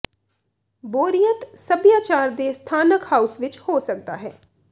ਬੋਰੀਅਤ ਸਭਿਆਚਾਰ ਦੇ ਸਥਾਨਕ ਹਾਊਸ ਵਿੱਚ ਹੋ ਸਕਦਾ ਹੈ